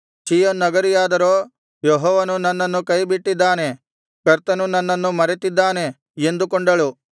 ಚೀಯೋನ್ ನಗರಿಯಾದರೋ ಯೆಹೋವನು ನನ್ನನ್ನು ಕೈಬಿಟ್ಟಿದ್ದಾನೆ ಕರ್ತನು ನನ್ನನ್ನು ಮರೆತಿದ್ದಾನೆ ಎಂದುಕೊಂಡಳು